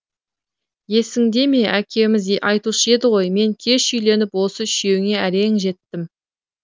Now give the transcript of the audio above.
есіңде ме әкеміз айтушы еді ғой мен кеш үйленіп осы үшеуіңе әрең жеттім